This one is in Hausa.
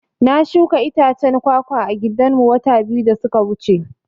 Na shuka itacen kwa-kwa a gidan mu wata biyu da suka wuce